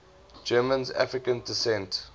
germans of african descent